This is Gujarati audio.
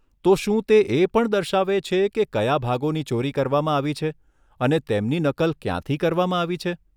તો શું તે એ પણ દર્શાવે છે કે કયા ભાગોની ચોરી કરવામાં આવી છે અને તેમની નકલ ક્યાંથી કરવામાં આવી છે?